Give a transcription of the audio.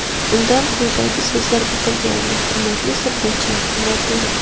Unda quyidagi so‘zlar bitilgandi: Hurmatli futbolchilar, murabbiylar!